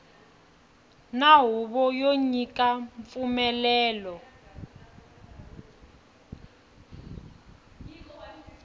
na huvo yo nyika mpfumelelo